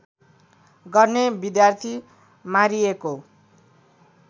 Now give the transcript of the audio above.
गर्ने विद्यार्थी मारिएको